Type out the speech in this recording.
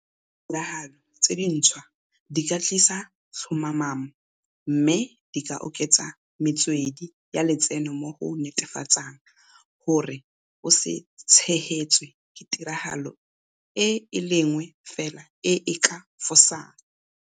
Ditiragalo tse dintshwa di ka tlisa tlhomamo mme di ka oketsa metswedi ya letseno mo go netefatsang gore o se tshegetswe ke tiragalo e le nngwe fela e e ka fosang.